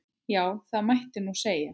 Já, það mætti nú segja.